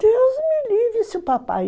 Deus me livre, se o papai...